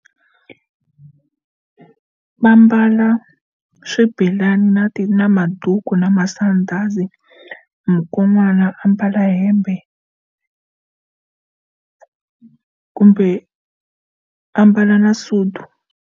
Va ambala swibelani na na maduku na masandhazi mukon'wana ambala hembe kumbe ambala na sudu.